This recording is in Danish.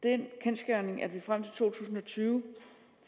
er den kendsgerning at vi frem til to tusind og tyve